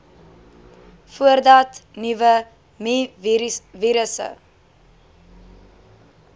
voordat nuwe mivirusse